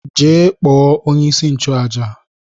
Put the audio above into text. Jee kpọọ onye-isi-nchu-àjà!